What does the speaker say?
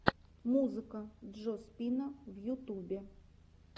музыка джо спина на ютубе